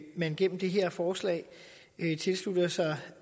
man gennem det her forslag tilslutter sig